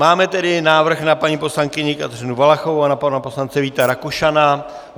Máme tedy návrh na paní poslankyni Kateřinu Valachovou a na pana poslance Víta Rakušana.